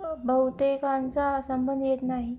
बहुतेकांचा संबंध येत नाही